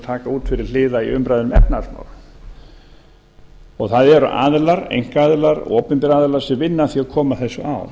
taka út til hliðar í umræðu um efnahagsmál það eru aðilar einkaaðilar opinberir aðilar sem vinna að því að koma þessu á